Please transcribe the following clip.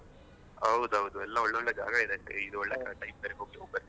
ಹೌದ್ ಹೌದ್ ಎಲ್ಲ ಒಳ್ಳೊಳ್ಳೆ ಜಾಗಗಳಿವೆ ಈಗ ಒಳ್ಳೆ time ಬೇರೆ ಹೋಗ್ ಬರ್ಲಿಕ್ಕೆ,